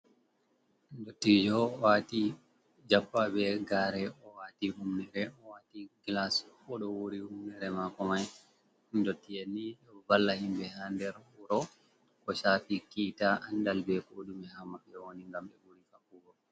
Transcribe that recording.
Dottijo owati jappa be gare owati hummere. Owati glas odo wuri hummere mako mai. Ɗottien ni ɗ vala himbe ha ɗenr wuro. Ko shafi kita, anɗal be koɗume ha mabbe woni gam be wuri fabbugo.